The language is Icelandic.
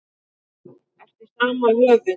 Eftir sama höfund